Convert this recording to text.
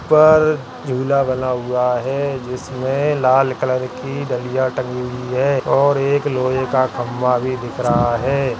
ऊपर झूला बना हुआ है जिसमें लाल कलर की डलिया तंगी हुई है और एक लोहे का खम्भा भी दिख रहा है।